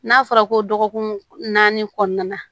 N'a fɔra ko dɔgɔkun naani kɔnɔna na